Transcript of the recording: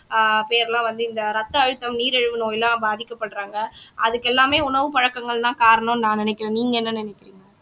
பேர் எல்லாம் வந்து இந்த ரத்த அழுத்தம் நீரிழிவு நோயெல்லாம் பாதிக்கப்படுறாங்க அதுக்கெல்லாமே உணவுப் பழக்கங்கள்தான் காரணம்ன்னு நான் நினைக்கிறேன் நீங்க என்ன நினைக்கிறீங்க